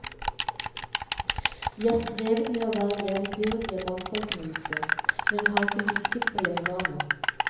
Vi har strevet med å være jevnbyrdige mannfolkene ute, men har ikke lykkes på hjemmebane.